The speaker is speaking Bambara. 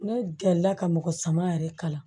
Ne gɛrɛla ka mɔgɔ sama yɛrɛ kalan